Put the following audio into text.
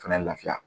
Fɛnɛ lafiya